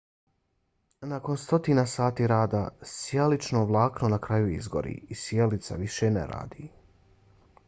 nakon stotina sati rada sijalično vlakno na kraju izgori i sijalica više ne radi